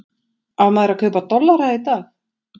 Á maður að kaupa dollara í dag?